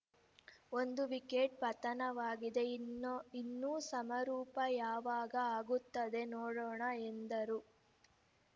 ಒಂದು ವಿಕೆಟ್‌ ಪತನವಾಗಿದೆ ಇನೋ ಇನ್ನು ಸಮಾರೋಪ ಯಾವಾಗ ಆಗುತ್ತದೆ ನೋಡೋಣ ಎಂದರು